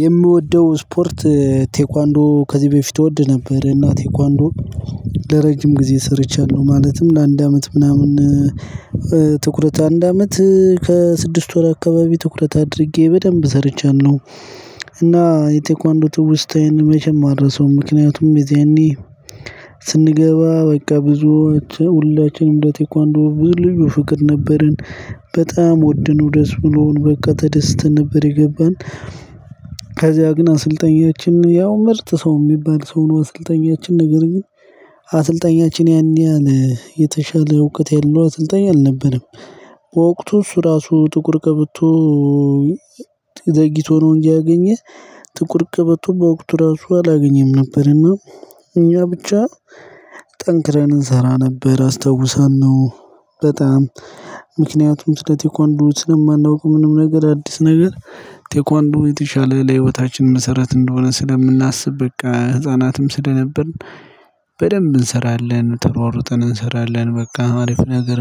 የምወደው ስፖርት ቴኳንዶ ከዚህ በፊት እወድ ነበር እና ቴኳንዶ ለረጅም ጊዜ ሰርቻለሁ ማለትም ለአንድ አመት ምናምን ትኩረት አንድ አመት ከስድስት ወር አካባቢ ትኩረት አድርጌ በደንብ ሰርቻለሁ። እና የቴኳንዶ ትውስታዬን መቼም አረሳዉም። ምክንያቱም የዝያኔ ስንገባ በቃ ብዙዎች ሁላችንም እንደ ቴኳንዶ ብዙ ልዩ ፍቅር ነበርን በጣም ወደነው ደስ ብሎን በቃ ተደስተን ነበር የገባን። ከዚያ ግን አሰልጣኛችን ያው ምርጥ ሰው የሚባል ሰው ነው። አሰልጣኛችን ነገር ግን አሰልጣኛችን ያን ያህል የተሻለ እውቀት ያለው አሰልጣኝ አልነበረም። በወቅቱ እሱ ራሱ ጥቁር ቀበቶ ዘግይቶ ነው እንጂ ያገኘህ ጥቁር ቀበቶ በወቅቱ ራሱ አላገኘም ነበር። እና እኛ ብቻ ጠንክረን እንሰራ ነበር አስታውሰን ነው። በጣም ምክንያቱም ስለ ቴኳንዶች ስለማናውቅ ምንም ነገር አዲስ ነገር ቴኳንዶ የተሻለ ለህይወታችን መሰረት እንደሆነ ስለምናስብ በቃ ህፃናትም ስለነበርን በደንብ እንሰራለን ተሯሩጠን እንሰራለን በቃ አሪፍ ነገር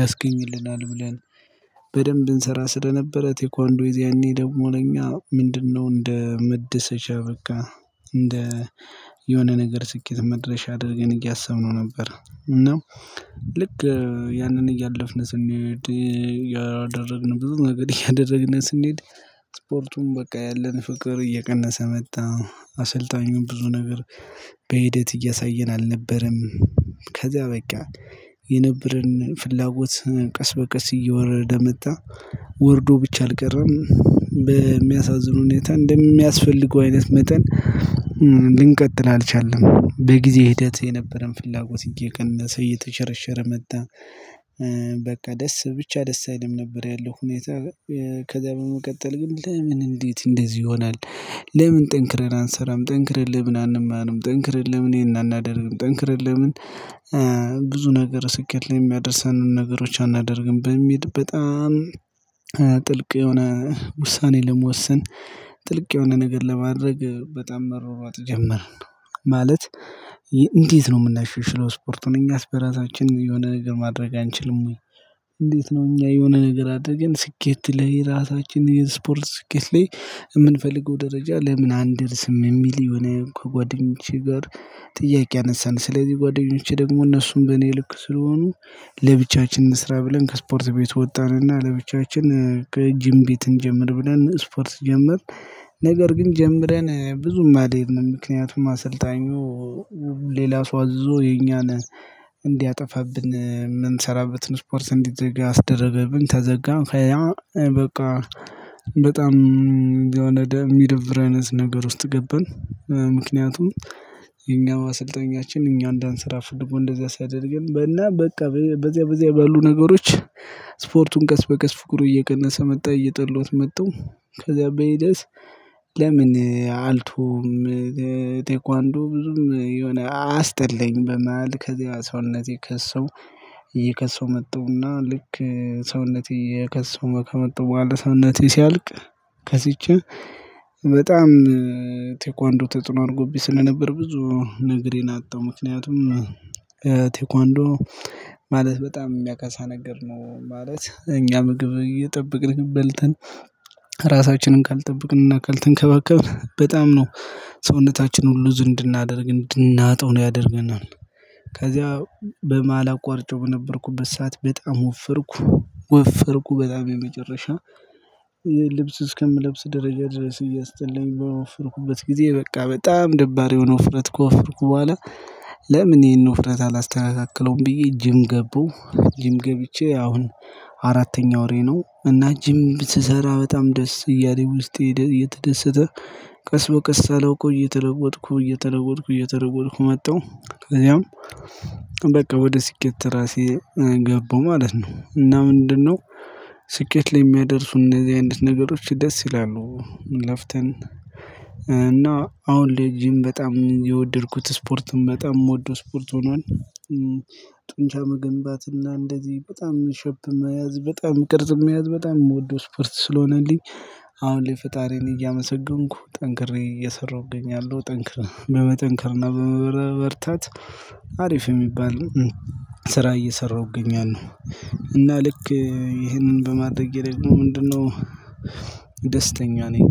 ያስገኝልናል ብለን። በደንብ እንሰራ ስለነበረ ቴኳንዶ የዛኔ ደግሞ እኛ ምንድነው እንደ መደሰቻ በቃ እንደ የሆነ ነገር ስኬት መድረሻ አድርገን እያሰብነው ነበር። እና ልክ ያንን እያለፍን ስንሄድ ያደረግን ብዙ ነገር እያደረግነ ስንሄድ። ስፖርቱም በቃ ያለን ፍቅር እየቀነሰ መጣ አሰልጣኙን ብዙ ነገር በሂደት እያሳየን አልነበረም። ከዛ በቃ የነበረን ፍላጎት ቀስ በቀስ እየወረደ መጣ ወርዶ ብቻ አልቀረም በሚያሳዝን ሁኔታ እንደሚያስፈልገው አይነት መጠን ልንቀጥል አልቻለም በጊዜ ሂደት የነበረን ፍላጎት እየቀነሰ እየተሸረሸረ መጣ። በቃ ደስ ብቻ ደስ አይልም ነበር ያለው ሁኔታ። ከዛ በመቀጠል ግን ለምን እንዴት እንደዚህ ይሆናል? ለምን ጠንክረን አንሰራም ጠንክረን ለምን አንማርም ጠንክረን ለምን ይሄን አናደርግም ጠንክረን ለምን? ብዙ ነገር ስኬት ላይ የሚያደርሰንን ነገሮች አናደርግም በሚል በጣም ጥልቅ የሆነ ውሳኔ ለመወሰን። ጥልቅ የሆነ ነገር ለማድረግ በጣም መሯሯጥ ጀመርን። ማለት እንዴት ነው የምናናሽሎ ስፖርቱን እኛስ በራሳችን የሆነ ነገር ማድረግ አንችልም ወይ? እንዴት ነው እኛ የሆነ ነገር አደረገን ስኬት ላይ ራሳችንን የስፖርት ስኬት ላይ የምንፈልገው ደረጃ ለምን አንደርስም? የሚል የሆነ ከጓደኞቼ ጋር ጥያቄ አነሳን ስለዚህ ጓደኞቼ ደግሞ እነሱም በእኔ ልክ ስለሆኑ ለብቻችን እንስራ ብለን ከስፖርት ቤት ወጣን እና ለብቻችን ከጂም ቤት እንጀምር ብለን ስፖርት ጀመርን። ነገር ግን ጀምረን ብዙም አልሄድንም ምክንያቱም አሰልጣኙ ሌላ ሰው አዝዞ የኛን እንዲያጠፋብን የምንሰራበትን ስፖርት እንዲዘጋ አስደረገብን ተዘጋ ከዝያ በቃ በጣም የሚደብር አይነት ነገር ውስጥ ገባን። ምክንያቱም የኛው አሰልጠኛችን እኛ እንዳንሰራ ፍልጎ እንደዚያ ሲያደርገን በና በቃ በዚያ በዚያ ባሉ ነገሮች። ስፖርቱን ቀስ በቀስ ፍቅሩ እየቀነሰ መጣ እየጠላዉት መጠው ከዛ በሂደት ለምን አልቶዉም? ቴኳንዶ ብዙም የሆነ አስጥላኝ በመሃል ከዚያ ሰውነቴ ከሳው እየከሳው መጣው እና ልክ ሰውነቴ እየከሳው ከመጣው በውኋላ ሰውነቴ ሲያልቅ። ከስቼ በጣም ቴኳንዶ ተጽኖ አርጎብኝ ስለነበር ብዙ ነገሬን አጣው ምክንያቱም ቴኳንዶ ማለት በጣም የሚያከሳ ነገር ነው ማለት እኛ ምግብ እየጠበቅን በልተን ራሳችንን ካልጠበቅንና ካልተንከባከብን በጣም ነው ሰውነታችን ሉዝ እንድናደርግ እንድናጠው ነው ያደርገናል። ከዚያ በመሃል አቋርጨው በነበርኩበት ሰዓት በጣም ወፈርኩ ወፈርኩ በጣም የመጨረሻ ልብስ እስከምለብስ ደረጃ ድረስ እያስጠላኝ በወፍርኩበት ጊዜ በቃ በጣም ደባሪ የሆነ ውፍረት ከወፍርኩ በኋላ ለምን ይሄን ውፍረት አላስተካክለውም ብዬ ጂም ገባው። ጂም ገብቼ አሁን አራተኛ ወሬ ነው እና ጂም ስሰራ በጣም ደስ እያለኝ ውስጥ እየተደሰተ ቀስ በቀስ ሳላውቀው እየተለወጥኩ እየተለወጥኩ እየተለወጥኩ መጣሁ። ከዛም በቃ ወደ ሲኬት ራሴ ገባሁ ማለት ነው። እና ምንድነው ስኬት ላይ የሚያደርሱ እነዚህ አይነት ነገሮች ደስ ይላሉ። ለፍተን እና አሁን ለይ ጂም በጣም የወደድኩት ስፖርትም በጣም የምወደው ስፖርት ሆኗል። ጡንቻ መገንባትና እንደዚህ በጣም ሸፕ መያዝ በጣም ቅርጽ መያዝ በጣም የምወደው ስፖርት ስለሆነልኝ። አሁን ላይ ፈጣሪዬን እያመሰገንኩ ጠንክሬ እየሰራሁ እገኛለው ጠንክር በመጠንክር በመበረታት አሪፍ የሚባል ስራ እየሰራሁ እገኛለው። እና ልክ ይሄንን በማድረጌ ደግሞ ምንድነው ደስተኛ ነኝ